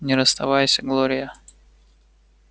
не расставайся глория